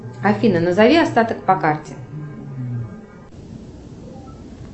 афина назови остаток по карте